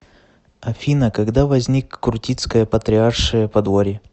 афина когда возник крутицкое патриаршее подворье